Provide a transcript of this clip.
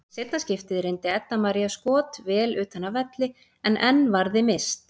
Í seinna skiptið reyndi Edda María skot vel utan af velli en enn varði Mist.